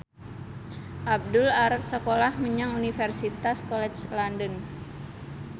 Abdul arep sekolah menyang Universitas College London